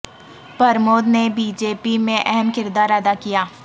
پرمود نے B J P میں اہم کردار ادا کیا